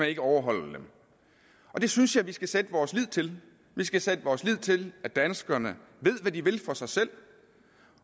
ikke overholder dem det synes jeg vi skal sætte vores lid til vi skal sætte vores lid til at danskerne ved hvad de vil for sig selv